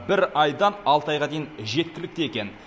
бір айдан алты айға дейін жеткілікті екен